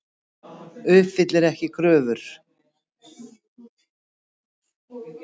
Uppfyllir ekki kröfur